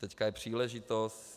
Teď je příležitost.